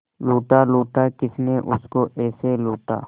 लूटा लूटा किसने उसको ऐसे लूटा